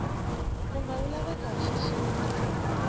nkumba wu laveka hi xixika